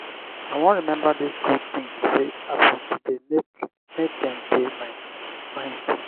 i wan rememba di good tins wey happen today make make dem dey my mind